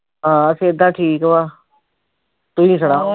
ਹਾਂ ਸੇਹਤਾ ਠੀਕ ਵਾਂ ਤੁਸੀਂ ਸੁਣਾਓ